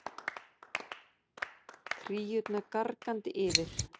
Kríurnar gargandi yfir.